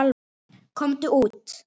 Komdu út!